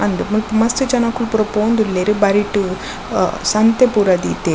ಅಂದ್ ಮುಲ್ಪ ಮಸ್ತ್ ಜನೊಕುಲ್ ಪೂರ ಪೋವೊಂದುಲ್ಲೆರ್ ಬರಿಟ್ ಅ ಸಂತೆ ಪೂರ ದೀತೆರ್.